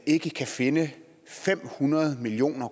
ikke kan finde fem hundrede million